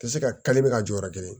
Ka se ka bɛ ka jɔyɔrɔ kelen